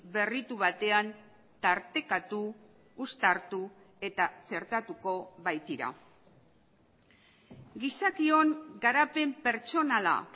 berritu batean tartekatu uztartu eta txertatuko baitira gizakion garapen pertsonala